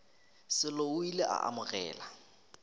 sello o ile a amogela